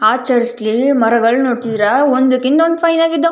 ಆ ಚರ್ಚ್ ಲಿ ಮರಗಳು ನೋಡ್ತಿದ್ದೀರಾ ಒಂದಕ್ಕಿಂತ ಒಂದು ಫೈನ್ ಆಗಿದ್ದೋ --